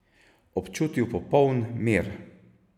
Občutil popoln mir.